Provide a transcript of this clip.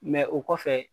o kɔfɛ